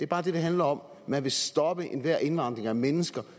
bare det det handler om man vil stoppe enhver indvandring af mennesker